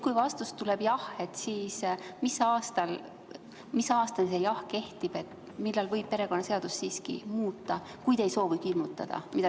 Kui vastus tuleb jah, siis mis aastani see jah kehtib, millal võib perekonnaseadust siiski muuta, kui te ei soovi hirmutada?